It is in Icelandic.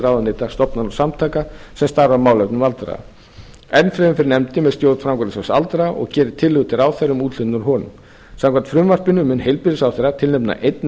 ráðuneyta stofnana og samtaka sem starfa að málefnum aldraðra enn fremur fer nefndin með stjórn framkvæmdasjóðs aldraðra og gerir tillögu til ráðherra um úthlutun úr honum samkvæmt frumvarpinu mun heilbrigðisráðherra tilnefna einn